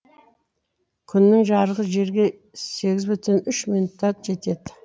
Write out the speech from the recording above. күннің жарығы жерге сегіз бүтін үш минутта жетеді